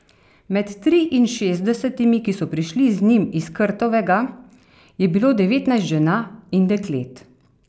Med triinšestdesetimi, ki so prišli z njim iz Krtovega, je bilo devetnajst žena in deklet.